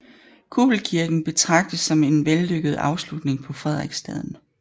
Kuppelkirken betragtes som en vellykket afslutning på Frederiksstaden